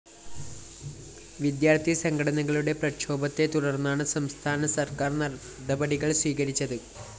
വിദ്യാര്‍ത്ഥി സംഘടനകളുടെ പ്രക്ഷോഭത്തെതുടര്‍ന്നാണ് സംസ്ഥാന സര്‍ക്കാര്‍ നടപടികള്‍ സ്വീകരിച്ചത്